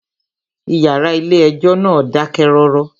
Ìyàrá ilé ẹjọ́ náà dákẹ́ rọ́rọ́.